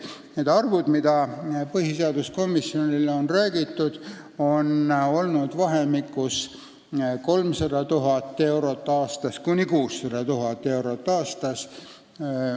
Need summad, mis põhiseaduskomisjonile on öeldud, on olnud vahemikus 300 000 – 600 000 eurot aastas.